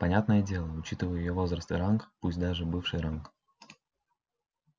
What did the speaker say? понятное дело учитывая её возраст и ранг пусть даже бывший ранг